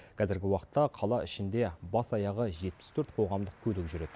қазіргі уақытта қала ішінде бас аяғы жетпіс төрт қоғамдық көлік жүреді